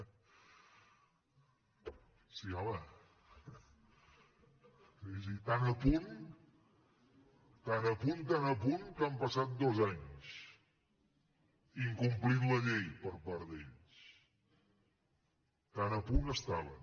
sí home tan a punt tan a punt que han passat dos anys incomplint la llei per part d’ells tan a punt hi estaven